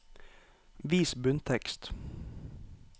Vis bunntekst